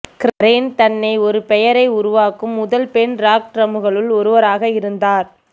Karen தன்னை ஒரு பெயரை உருவாக்கும் முதல் பெண் ராக் டிரம்மர்களுள் ஒருவராக இருந்தார்